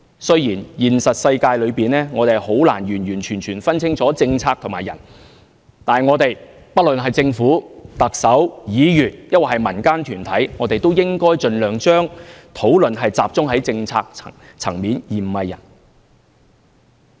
雖然現實世界中，我們很難完完全全分清楚政策和人，但不論政府、特首、議員，或民間團體，也應盡量把討論集中在政策層面而非人。